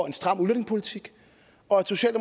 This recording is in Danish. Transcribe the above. en stram udlændingepolitik og